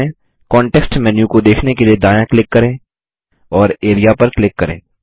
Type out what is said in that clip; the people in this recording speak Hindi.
कॉन्टेक्स्ट कॉन्टेक्स्ट मेन्यू को देखने के लिए दायाँ क्लिक करें और एआरईए पर क्लिक करें